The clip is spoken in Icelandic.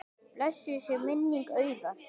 Blessuð sé minning Auðar.